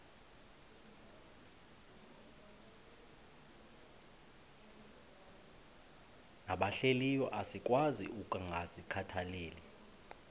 nabahlehliyo asikwazi ukungazikhathaieli